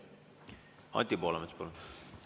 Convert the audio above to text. Anti Poolamets, palun!